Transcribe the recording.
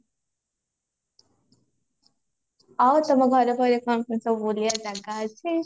ଆଉ ତମ ଘର କଣ କେମତି ସବୁ ବୁଲିବା ଜାଗା ଅଛି